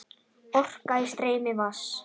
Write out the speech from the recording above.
Orka í streymi vatns.